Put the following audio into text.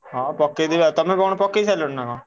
ହଁ ପକେଇଦେବି ଆଉ ତମେ କଣ ପକେଇସାଇଲଣି ନା କଣ?